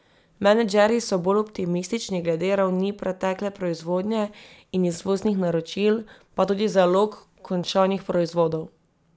Menedžerji so bolj optimistični glede ravni pretekle proizvodnje in izvoznih naročil, pa tudi zalog končanih proizvodov.